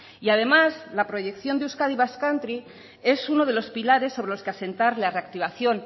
y además la proyección de euskadi basque country es uno de los pilares sobre los que asentar la reactivación